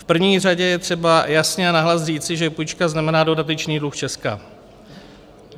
V první řadě je třeba jasně a nahlas říci, že půjčka znamená dodatečný dluh Česka.